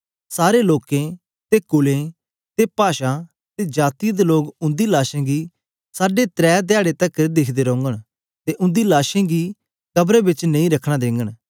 सारें लोकें ते कुलें ते पाषां ते जातीयें दे लोग उंदीं लाशें गी साढे त्रै धयारे तकर दिखदे रोंगन ते उंदी लाशें गी कबरां बिच नेई रखन देंगन